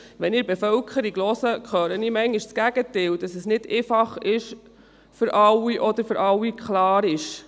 Wenn ich mich bei der Bevölkerung umhöre, höre ich manchmal das Gegenteil, das heisst, dass es nicht für alle einfach oder klar sei.